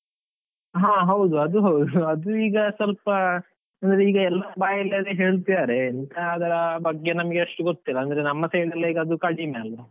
ಹಾ ಹೌದು ಅದು ಹೌದು, ಅದು ಈಗ ಸ್ವಲ್ಪ ಅಂದ್ರೆ ಈಗ ಎಲ್ಲರ ಬಾಯಲ್ಲಿ ಅದೇ ಹೇಳ್ತಿದ್ದಾರೆ ಎಂತ ಅಂತ ಅದರ ಬಗ್ಗೆ ನಮಗೆ ಅಷ್ಟು ಗೊತ್ತಿಲ್ಲ ಅಂದ್ರೆ ನಮ್ಮ side ಅಲ್ಲಿ ಅದು ಕಡಿಮೆ ಅಲ್ಲಾ.